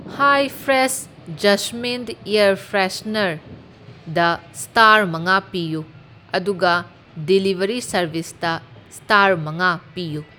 ꯍꯥꯏ fresh jasmine air ꯐ꯭ꯔꯦꯁꯅꯔꯗ star ꯃꯉꯥ ꯄꯤꯌꯨ, ꯑꯗꯨꯒ ꯗꯤꯂꯤꯕꯔꯤ ꯁꯥꯔꯕꯤꯁꯇ ꯁ꯭ꯇꯥꯔ ꯃꯉꯥ ꯄꯤꯌꯨ꯫